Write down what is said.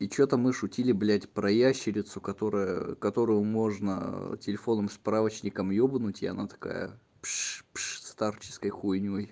и что-то мы шутили блядь про ящерицу которая которую можно телефонным справочником ёбнуть и она такая пш пш старческой хуйнёй